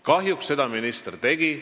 Kahjuks seda minister tegi.